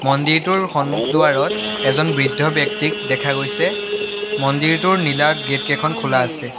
মন্দিৰটোৰ সন্মুখ দুৱাৰত এজন বৃদ্ধ ব্যক্তিক দেখা গৈছে মন্দিৰটোৰ নীলা গেটকিখন খোলা আছে।